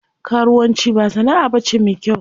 Karuwan ci ba sana'a bace me kyau.